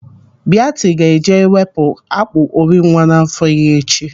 Biati ga-eje ewepụ akpụ ori nwa n'afọ ya echi.